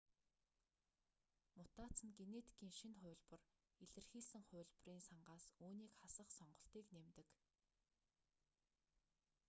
мутаци нь генетикийн шинэ хувилбар илэрхийлсэн хувилбарын сангаас үүнийг хасах сонголтыг нэмдэг